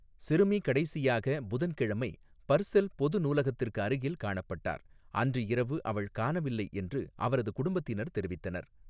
சிறுமி கடைசியாக புதன்கிழமை பர்செல் பொது நூலகத்திற்கு அருகில் காணப்பட்டார், அன்று இரவு அவள் காணவில்லை என்று அவரது குடும்பத்தினர் தெரிவித்தனர்.